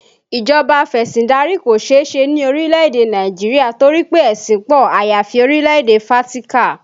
Ìjọba afesindari kò seese ni orílẹ̀ èdè Nàìjíríà torí pé ẹṣin pọ, àyàfi orílẹ̀ èdè Fátíkà